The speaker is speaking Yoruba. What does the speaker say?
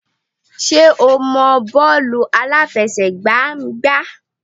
Ṣé o mọ bọ́ọ̀lù àláfẹsẹ̀gbá gbá?